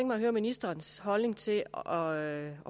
mig at høre ministerens holdning til det og